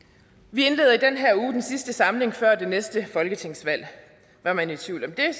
vi indleder i den her uge den sidste samling før det næste folketingsvalg var man i tvivl om det